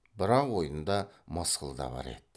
бірақ ойында мысқыл да бар еді